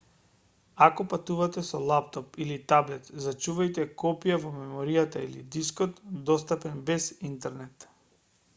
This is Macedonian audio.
ако патувате со лаптоп или таблет зачувајте копија во меморијата или дискот достапен без интернет